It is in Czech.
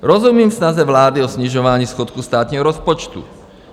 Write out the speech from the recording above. Rozumím snaze vlády o snižování schodku státního rozpočtu.